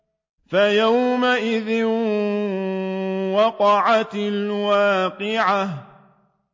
فَيَوْمَئِذٍ وَقَعَتِ الْوَاقِعَةُ